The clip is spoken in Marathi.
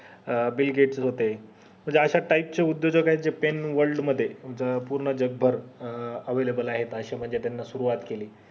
अं bill gates होते म्हणजे अश्या type हे जर उदयोजक होते आहेत pen world मध्ये पूर्ण जगभर अं available आहेत अशे म्हणजे त्यांनी सुरुवात